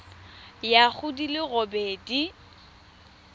ya go di le robedi